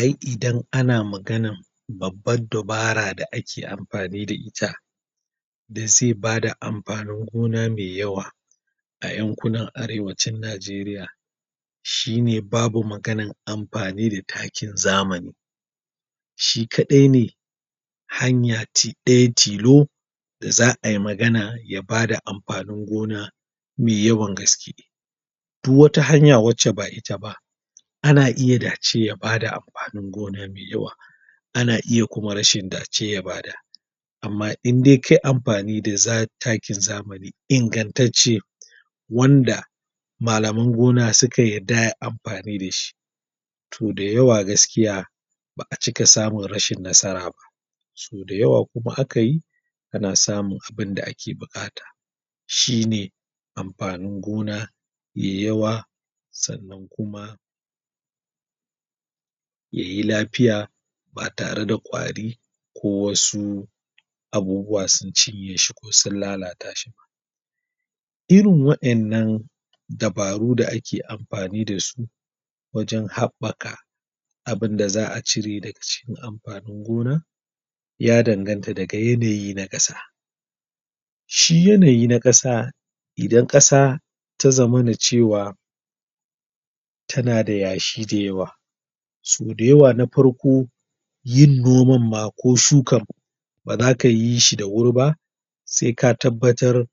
Ai' idan ana maganan babban dabara da ake amfani da ita, da ze ba da amfanin gona me yawa a yankunan arewa chan Najeriya, shi ne babu maganan amfani da takin zamani shi kadai ne hanya tidai tilo da za a yi magana ya bada amfanin gona me yawan gaske. Duk wata hanya wace ba ita ba ana iya dace ya bada amfanin gona me yawa ana kuma rashin dace ya bada amma in dai kai amfani da za, takin zamani inganttace, wanda malaman gona suka yadda ayi amfani dashi Toh da yawa gaskiya ba a cika samun rashin nasara ba so dayawa kuma aka yi ana samun abin da ake bukata, shi ne amfanin gona me yawa sannan kuma, yayi lafiya ba tare da kwari ko wasu abubuwa sun cinye shi ko sun lalata shi. Irin wadannan dabaru da ake amfani da su, wajen habbaka abun da za a cire daga cikin amfanin gona ya danganta daga yanayi na kasa. Shi yanayi na kasa idan kasa ta zamana cewa tana da yashi da yawa so dayawa na farko, yin noman ma ko shukan baza ka yi shi da wuri ba sai ka tabbatar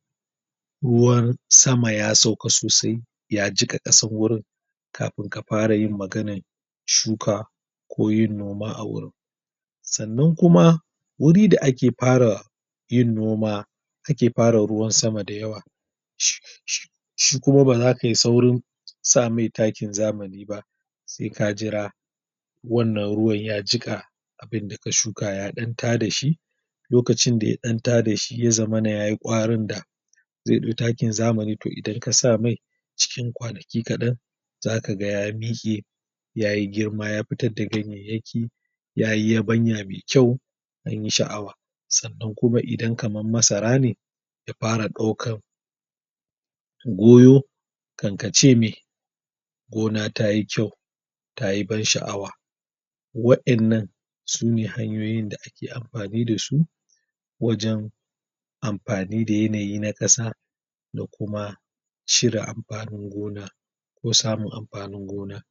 ruwan sama ya sauka sosai, ya jika kasan wurin kafin ka fara yin maganan shuka ko yin noma a wurin. Sannan kuma, wurin da ake fara yin noma, ake fara ruwan sama da yawa, shi kuma baza kayi saurin sa mai takin zamani ba sai ka jira wannan ruwa ya jika abin da ka shuka ya dan ta da shi lokacin da ya dan ta da shi ya zamana yayi kwarin da zai dau takin zamani idan ka sa mai, cikin kwanaki kadan zaka g ya mike yayi girma, ya fitar da ganyeyeki yayi yabanya me kyau anyi sha'awa sannan kuma idan kaman masara ne ya fara daukan goyo kankace me gona tayi kyau tayi ban sha'awa wadannan sune hanyoyin da ake amfani da su wajen amfani da yanayi na kasa da kuma shirin amfanin gona ko samun amfanin gona